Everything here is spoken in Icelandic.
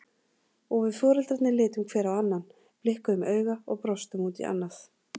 Og við foreldrarnir litum hver á annan, blikkuðum auga og brostum út í annað.